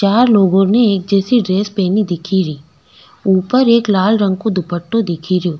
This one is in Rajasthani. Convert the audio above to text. चार लोगो ने एक जैसी ड्रेस पहनी दिखे री ऊपर एक लाल रंग को दुपटा दिखे रियो।